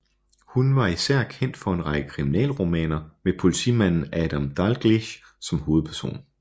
Hun var især kendt for en række kriminalromaner med politimanden Adam Dalgliesh som hovedperson